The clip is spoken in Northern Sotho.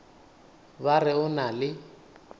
ba re o na le